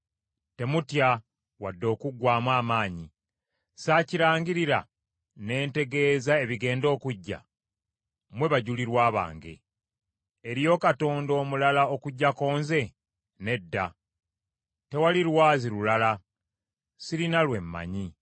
Temutya wadde okuggwaamu amaanyi. Saakirangirira ne ntegeeza ebigenda okujja? Mmwe bajulirwa bange. Eriyo Katonda omulala okuggyako nze? Nedda. Tewali Lwazi lulala, sirina lwe mmanyi.”